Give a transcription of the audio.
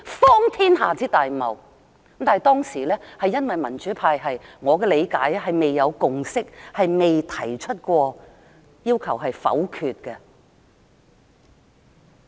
但據我的理解，當時因為民主派未有共識，因此沒提出要求否決。